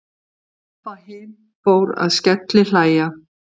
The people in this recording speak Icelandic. Abba hin fór að skellihlæja.